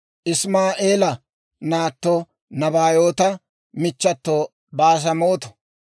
Isimaa'eela naatto, Nabaayoota michchato Baasemaato.